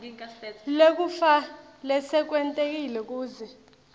ngekufa lesekwentekile kuze